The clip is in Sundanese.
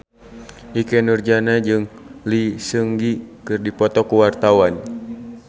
Ikke Nurjanah jeung Lee Seung Gi keur dipoto ku wartawan